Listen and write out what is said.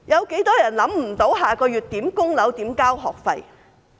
有多少人不知道下個月如何供樓、如何交學費？